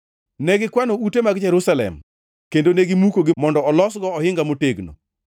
Ne gikwano ute mag Jerusalem kendo ne gimukogi mondo olosgo ohinga motegno.